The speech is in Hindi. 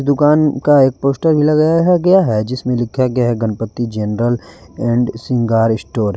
दुकान का एक पोस्टर भी लगाया है गया है जिसमें लिखा गया Ganpati general and Shringar store.